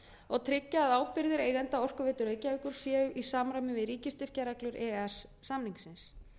og tryggja að ábyrgðir eigenda orkuveitu reykjavíkur séu í samræmi við ríkisstyrkjareglur e e s samningsins